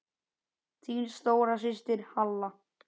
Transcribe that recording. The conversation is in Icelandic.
Þín stóra systir, Halla.